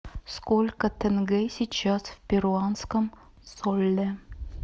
сколько тенге сейчас в перуанском соле